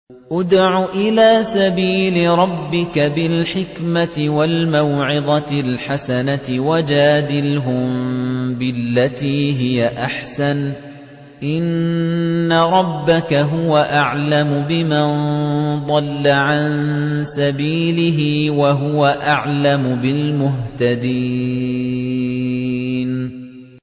ادْعُ إِلَىٰ سَبِيلِ رَبِّكَ بِالْحِكْمَةِ وَالْمَوْعِظَةِ الْحَسَنَةِ ۖ وَجَادِلْهُم بِالَّتِي هِيَ أَحْسَنُ ۚ إِنَّ رَبَّكَ هُوَ أَعْلَمُ بِمَن ضَلَّ عَن سَبِيلِهِ ۖ وَهُوَ أَعْلَمُ بِالْمُهْتَدِينَ